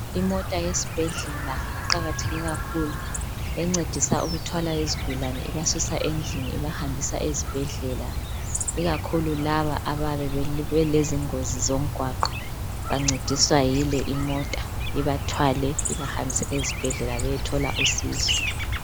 Imota yesibhedlela iqakatheke kakhulu encedisa ukuthwala izigulane ibasusa endlini ibahambisa ezibhedlela ikakhulu laba ababelezingozi zomgwaqo bancediswa yile imota ibathwale ibahambise ezibhedlela bayethola usizo.